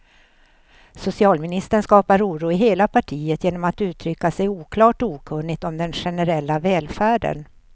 Socialministern skapar oro i hela partiet genom att uttrycka sig oklart och okunnigt om den generella välfärden.